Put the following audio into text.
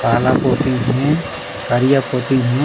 काला पोतीन हे करिया पुतिन हे।